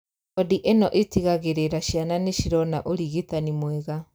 Wondi ĩno ĩtigagĩrĩra ciana nĩcirona ũrigitani mwega